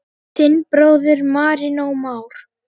Þinn bróðir, Marinó Már.